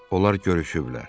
Onlar görüşüblər.